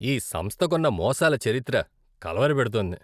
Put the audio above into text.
ఈ సంస్థకున్న మోసాల చరిత్ర కలవరపెడుతోంది.